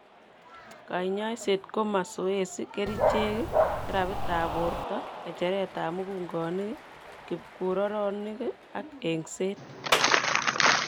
Kanyaiseet koo masoesi, kercheek, therapytab borto, ng'echeretab mugungoik, kipkuroronik ak eng'seet